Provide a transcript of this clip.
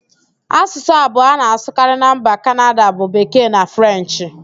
Asụsụ abụọ a na-asụkarị na mba Kanada bụ Bekee na Frenchị